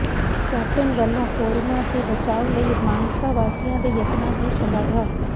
captain ਵੱਲੋਂ corona ਤੋਂ ਬਚਾਅ ਲਈ ਮਾਨਸਾ ਵਾਸੀਆਂ ਦੇ ਯਤਨਾਂ ਦੀ ਸ਼ਲਾਘਾ